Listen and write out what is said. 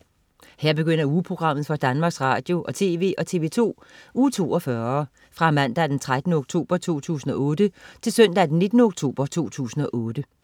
Her begynder ugeprogrammet for Danmarks Radio- og TV og TV2 Uge 42 Fra Mandag den 13. oktober 2008 Til Søndag den 19. oktober 2008